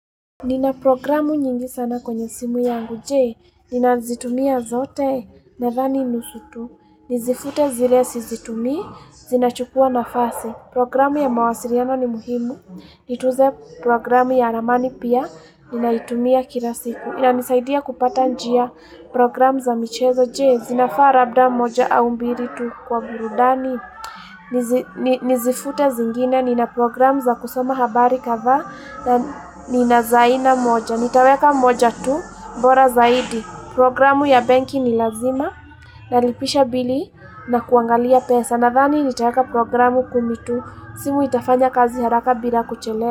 Nina programu nyingi sana kwenye simu yangu, jee, nina zitumia zote na thani nusutu, nizifute zile si zitumii, zinachukua nafasi, programu ya mawasiliano ni muhimu, nituze programu ya ramani pia, nina itumia kila siku, ina nisaidia kupata njia programu za michezo, jee, zinafaa labda moja au mbiritu kwa burudani, Nizifute zingine, nina programu za kusoma habari kathaa na nina za aina moja Nitaweka moja tu, bora zaidi Programu ya benki ni lazima, nalipisha bili na kuangalia pesa Nathani nitaweka programu kumi tu, simu itafanya kazi haraka bila kuchelewa.